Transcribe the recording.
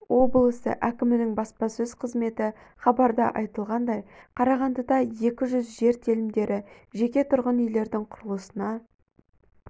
облысы әкімінің баспасөз қызметі хабарда айтылғандай қарағандыда екі жүз жер телімдері жеке тұрғын үйлердің құрылысына